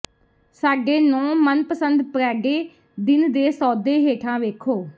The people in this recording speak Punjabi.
ਸਾਡੇ ਨੌਂ ਮਨਪਸੰਦ ਪ੍ਰੈਡੇ ਦਿਨ ਦੇ ਸੌਦੇ ਹੇਠਾਂ ਵੇਖੋ